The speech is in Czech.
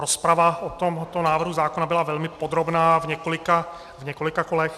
Rozprava o tomto návrhu zákona byla velmi podrobná v několika kolech.